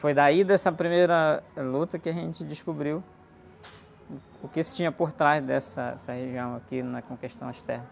Foi daí dessa primeira luta que a gente descobriu, uh, o que se tinha por trás dessa, essa, região aqui na, com questão às terras.